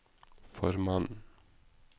formannen